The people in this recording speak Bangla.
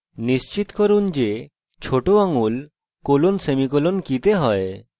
নিশ্চিত করুন যে ছোট আঙ্গুল colon/সেমিকোলন কী তে হয়